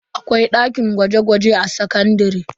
Akwai dakin gwaje-gwaje a sakandare.